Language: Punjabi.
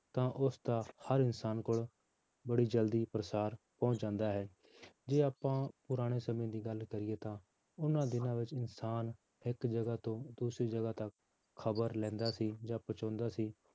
ਤਾਂ ਉਸਦਾ ਹਰ ਇਨਸਾਨ ਕੋਲ ਬੜੀ ਜ਼ਲਦੀ ਪਰਸਾਰ ਪਹੁੰਚ ਜਾਂਦਾ ਹੈ, ਜੇ ਆਪਾਂ ਪੁਰਾਣੇ ਸਮੇਂ ਦੀ ਗੱਲ ਕਰੀਏ ਤਾਂ ਉਹਨਾਂ ਦਿਨਾਂ ਵਿੱਚ ਇਨਸਾਨ ਇੱਕ ਜਗ੍ਹਾ ਤੋਂ ਦੂਸਰੀ ਜਗ੍ਹਾ ਤੱਕ ਖ਼ਬਰ ਲੈਂਦਾ ਸੀ ਜਾਂ ਪਹੁੰਚਾਉਂਦਾ ਸੀ